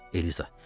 Eliza.